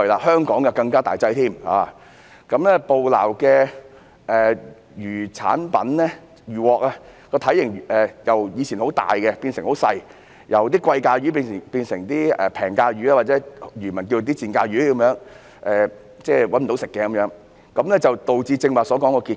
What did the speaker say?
香港的情況更為嚴重，捕撈的漁穫由從前體型大的高價值品種，變成現在體型細小的低價值品種，或者漁民因賺不到多少錢而稱之為"賤價魚"的品種，這樣就導致剛才所說的結果。